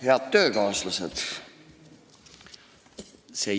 Head töökaaslased!